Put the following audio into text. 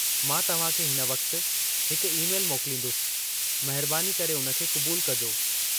मां तव्हांखे हिन वक्ति हिकु ई- मैल मोकलींदुसि, महिरबानी करे उन खे क़ुबूलु कजो।